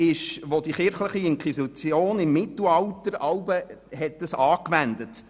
Diese hat die kirchliche Inquisition im Mittelalter angewandt.